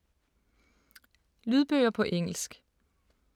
Lydbøger på engelsk